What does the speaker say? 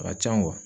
A ka can